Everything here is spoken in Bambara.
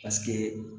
Paseke